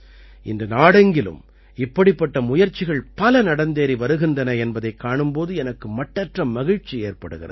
இன்று நாடெங்கிலும் இப்படிப்பட்ட முயற்சிகள் பல நடந்தேறி வருகின்றன என்பதைக் காணும் போது எனக்கு மட்டற்ற மகிழ்ச்சி ஏற்படுகிறது